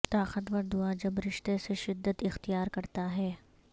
طاقتور دعا جب رشتہ سے شدت اختیار کرتا ہے